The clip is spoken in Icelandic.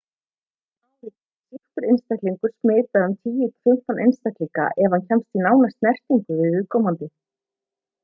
á einu ári getur sýktur einstaklingur smitað um 10 til 15 einstaklinga ef hann kemst í nána snertingu við viðkomandi